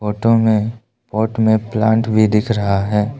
Photo में boat में plot भी दिख रहा है।